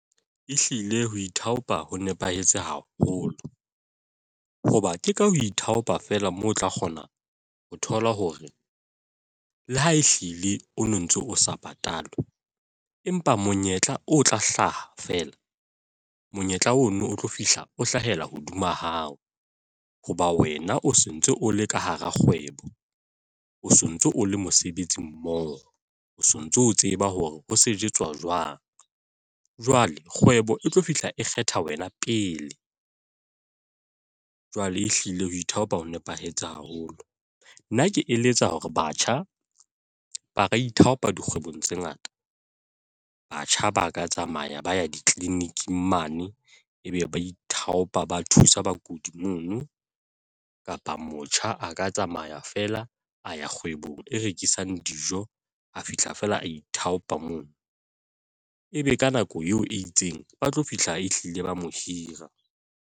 Ehlile ho ithaopa ho nepahetse haholo. Hoba ke ka ho ithaopa fela moo o tla kgona ho thola hore le ha ehlile o no ntso o sa patalwe, empa monyetla o tla hlaha fela. Monyetla ono o tlo fihla o hlahela hodima hao. Hoba wena o sontso o le ka hara kgwebo. O so ntso o le mosebetsi mmoho, o sontso o tseba hore ho sejetswa jwang. Jwale kgwebo e tlo fihla e kgetha wena pele. Jwale e hlile ho ithaopa ho nepahetse haholo. Nna ke eletsa hore batjha ba ka ithaopa dikgwebo tse ngata. Batjha ba ka tsamaya ba ya di-clinic-ng mane, ebe ba ithaopa ba thusa bakudi mono. Kapa motjha a ka tsamaya feela a ya kgwebong e rekisang dijo, a fihla feela a ithaopa mono e be ka nako eo e itseng, ba tlo fihla e hlile ba mo hira.